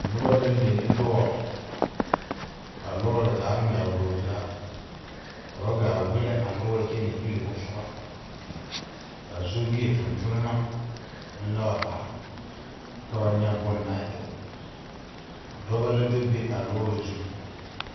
Noba la le ne lɔr. ka a lɔre zaa ŋmɛgle o zaa. Ka ba gaa wile a lɔre kyɛ na irre o suba. Ka sobie tontonma meŋ le wa are ka ka ba nye bona e. Dɔbɔ la do be a lɔre zu